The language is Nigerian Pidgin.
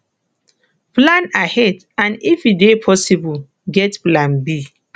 plan ahead and if e dey possible get plan b